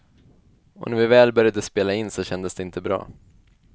Och när vi väl började spela in så kändes det inte bra.